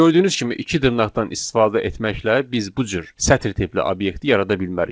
Gördüyünüz kimi iki dırnaqdan istifadə etməklə biz bu cür sətr tipli obyekti yarada bilmərik